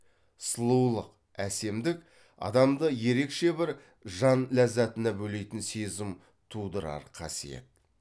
сұлулык әсемдік адамды ерекше бір жан ләззатына бөлейтін сезім тудырар қасиет